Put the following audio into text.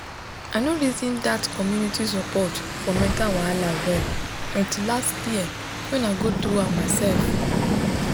i no reason that community support for mental wahala well until last year when i go through am myself